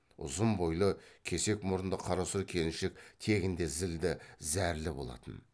ұзын бойлы кесек мұрынды қарасұр келіншек тегінде зілді зәрлі болатын